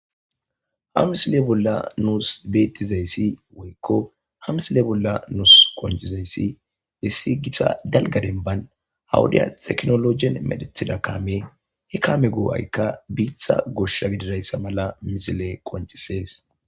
ha misile bolla nuus beettizayssi woykko ha misile bolla nus konjizayssi bessi gita dalga denban hawuday teknologen medethida kaame he kaame goo7aykka biitha gosha gididayssa mala misile qoncisees